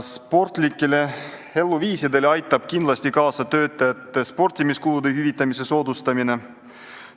Sportlikele eluviisidele aitab kindlasti kaasa töötajate sportimiskulude hüvitamise soodustamine.